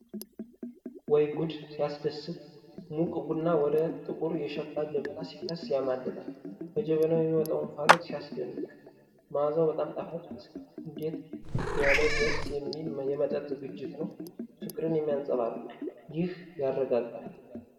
ወይ ጉድ! ሲያስደስት! ሙቅ ቡና ወደ ጥቁር የሸክላ ጀበና ሲፈስ ያማልላል። ከጀበናው የሚወጣው እንፋሎት ሲያስደነቅ! መዓዛው በጣም ጣፋጭ ይመስላል። እንዴት ያለ ደስ የሚል የመጠጥ ዝግጅት ነው! ፍቅርን የሚያንጸባርቅ! ይህ ያረጋጋል!